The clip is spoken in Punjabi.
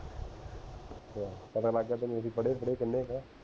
ਅਸ਼ਾ ਪਤਾ ਲਗ ਗਿਆ ਤੈਨੂੰ ਅਸੀਂ ਪੜੇ ਪੂੜ੍ਹੇ ਕਿੰਨੇ ਕੇ ਆ